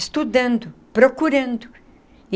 Estudando, procurando.